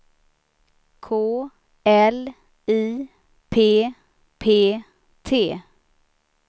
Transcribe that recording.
K L I P P T